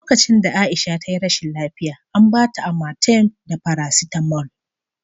Lokacin da Aisha ta yi rashin lafiya, an ba ta Amatem da farasitamol